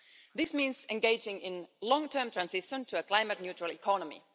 This means engaging in a long-term transition to a climate neutral economy.